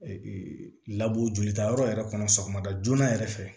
Ee labɔ jolitayɔrɔ yɛrɛ kɔnɔ sɔgɔmada joona yɛrɛ fɛ